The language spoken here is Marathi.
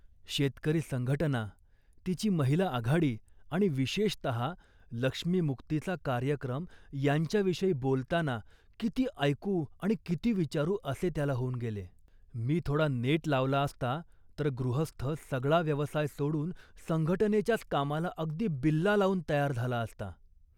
शेतकरी संघटना, तिची महिला आघाडी आणि, विशेषतः, लक्ष्मीमुक्तीचा कार्यक्रम यांच्याविषयी बोलताना किती ऐकू आणि किती विचारू असे त्याला होऊन गेले. मी थोडा नेट लावला असता तर गृहस्थ सगळा व्यवसाय सोडून संघटनेच्याच कामाला अगदी बिल्ला लावून तयार झाला असता